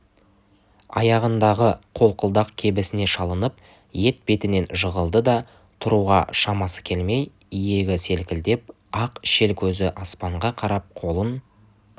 аяғындағы қолқылдақ кебісіне шалынып етбетінен жығылды да тұруға шамасы келмей иегі селкілдеп ақ шел көзі аспанға қарап қолын